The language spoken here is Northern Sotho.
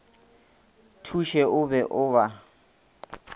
thuše o be o ba